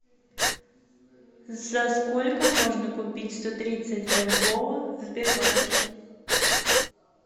за сколько можно купить сто тридцать бальбоа в сбербанке